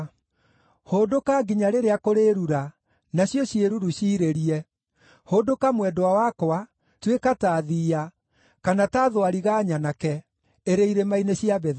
Hũndũka nginya rĩrĩa kũrĩĩrura, nacio ciĩruru ciirĩrie. Hũndũka mwendwa wakwa, tuĩka ta thiiya, kana ta thwariga nyanake, ĩrĩ irĩma-inĩ cia Betheri.